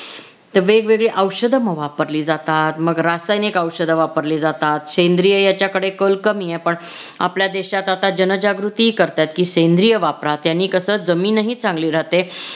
तर वेगवेगळे औषध मग वापरली जातात मग रासायनिक औषध वापरली जातात. सेंद्रिय याच्याकडे कल कमी आहे. पण आपल्या देशात आता जनजागृती करतात की सेंद्रिय वापरा त्याने कस जमीनही चांगली राहते.